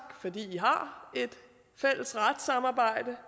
fordi vi har et fælles retssamarbejde